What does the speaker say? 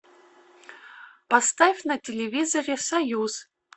поставь на телевизоре союз